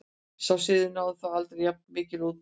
Sá siður náði þó aldrei jafn mikilli útbreiðslu.